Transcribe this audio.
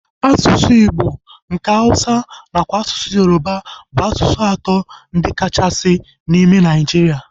Asụsụ igbo, nke Hausa nakwa asụsụ Yoruba bụ asụsụ atọ ndị a kachasị asụ n'ime Nigeria